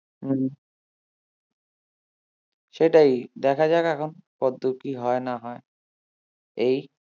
সেটাই দেখা যাক এখন কতদূর কি হয় না হয় এই